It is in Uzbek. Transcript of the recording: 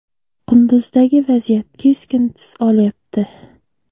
Qunduzdagi vaziyat keskin tus olyapti.